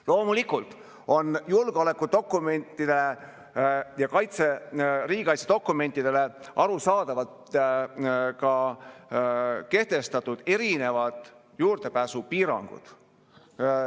Loomulikult on julgeolekudokumentidele ja riigikaitsedokumentidele arusaadavalt kehtestatud erinevad juurdepääsupiirangud.